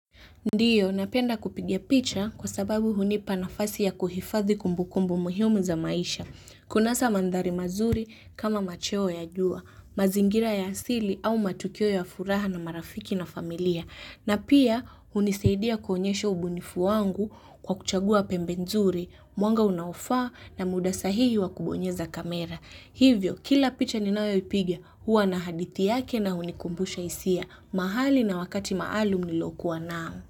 Ndiyo, napenda kupiga picha kwa sababu hunipa nafasi ya kuhifadhi kumbukumbu muhimu za maisha. Kunasa mandhari mazuri kama macheo ya jua, mazingira ya asili au matukio ya furaha na marafiki na familia. Na pia hunisaidia kuonyesha ubunifu wangu kwa kuchagua pembe nzuri, mwanga unaofaa na muda sahihi wa kubonyeza kamera. Hivyo kila picha ninayoipiga huwa na hadithi yake na hunikumbusha hisia mahali na wakati maalum nilokuwa nao.